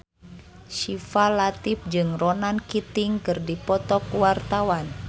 Syifa Latief jeung Ronan Keating keur dipoto ku wartawan